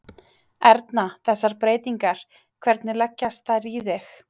Erna, þessar breytingar, hvernig leggjast þær í þig?